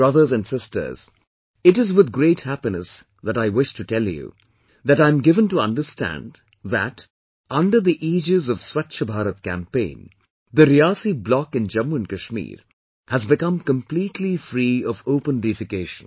Brothers and Sisters, it is with great happiness that I wish to tell you, that I am given to understand that under the aegis of 'Swachch Bharat Campaign', the Riyasi Block in Jammu and Kashmir has become completely free of open defecation